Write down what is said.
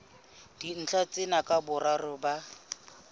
dintlha tsena ka boraro ba